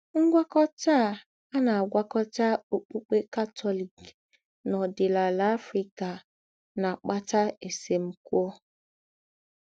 Ngwákọ̀tà à à na - àgwákọ̀tà ọ́kpukpè Katọlik nà òdìnàlà Africa na - àkpàtà èsèmkwọ́.